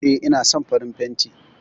E, ina son farin fanti